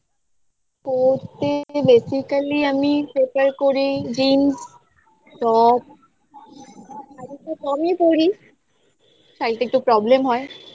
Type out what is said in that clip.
পড়তে basically আমি prefer করি jeans top শাড়িতো কমই পড়ি শাড়িটা একটু problem হয়